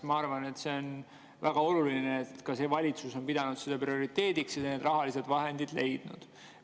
Ma arvan, et on väga oluline, et ka see valitsus on pidanud seda prioriteediks ja need rahalised vahendid leidnud.